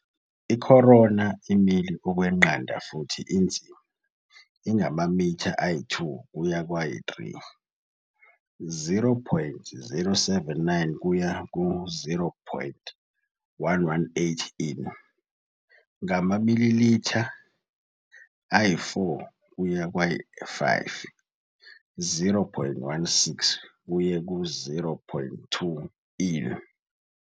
I-corona imile okweqanda futhi inzima, ingamamitha ayi-2 kuye kwayi-3, 0,079 kuya ku-0.118 in, ngamamilitha ayi-4 kuye kwayi-5, 0.16 kuye ku-0.20 in.